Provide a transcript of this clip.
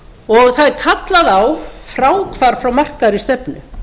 og það er kallað á fráhvarf frá markaðri stefnu